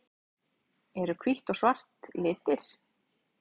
Eru hvítt og svart litir?